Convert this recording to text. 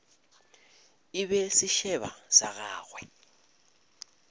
e be sešeba sa gagwe